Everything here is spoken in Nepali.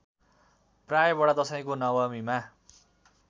प्राय बडादशैँको नवमीमा